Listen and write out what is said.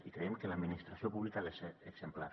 i creiem que l’administració pública ha de ser exemplar